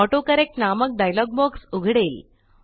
AutoCorrectनामक dialog box उघडेल